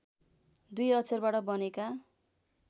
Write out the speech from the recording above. दुई अक्षरबाट बनेका